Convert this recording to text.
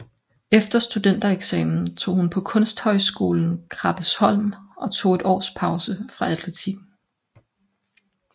Efter studentereksamen tog hun på Kunsthøjskolen Krabbesholm og tog et års pause fra atletikken